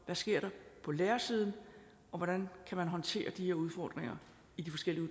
der sker på lærersiden og hvordan man kan håndtere de her udfordringer i de forskellige